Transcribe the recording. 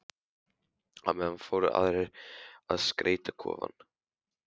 Á meðan fóru aðrir í að skreyta kofann.